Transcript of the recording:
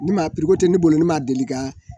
Ni ma tɛne bolo ne ma deli ka